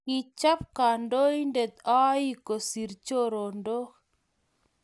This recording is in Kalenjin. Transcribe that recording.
kichop kandoindet oik kosir chorondok